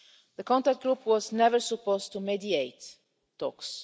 The contact group was never supposed to mediate talks.